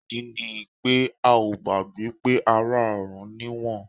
Ìdí ni pé a gbàgbọ́ pé ará ọ̀run ni wọ́n.